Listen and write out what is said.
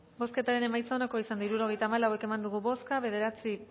bozketaren emaitza onako izan da hirurogeita hamalau eman dugu bozka bederatzi